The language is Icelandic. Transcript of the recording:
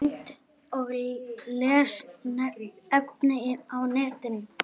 Mynd og lesefni á netinu